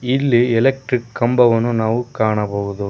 ಇಲ್ಲಿ ಎಲೆಕ್ಟ್ರಿಕ್ ಕಂಬವನ್ನು ನಾವು ಕಾಣಬಹುದು.